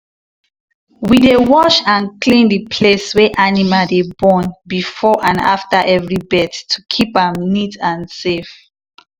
we dey wash and clean the place wey animal dey born before and after every birth to keep am neat and safe.